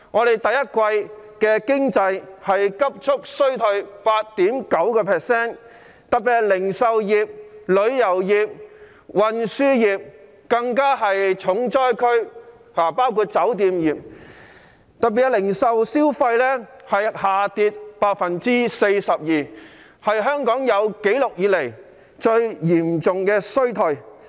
第一季經濟急速衰退 8.9%， 其中零售業、旅遊業、運輸業及酒店業更是重災區，零售業銷貨額下跌了 42%， 是香港有紀錄以來最嚴重的衰退。